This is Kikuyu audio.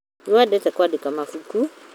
Nĩwendete kwandĩka mabuku?